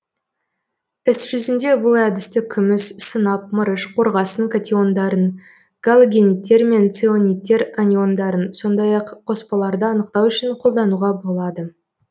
іс жүзінде бұл әдісті күміс сынап мырыш қорғасын катиондарын галогенидтер мен ционидтер аниондарын сондай ақ қоспаларды анықтау үшін қолдануға болады